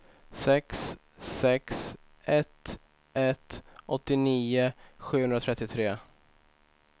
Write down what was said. sex sex ett ett åttionio sjuhundratrettiotre